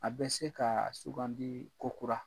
A bɛ se kaa sugandii ko kura.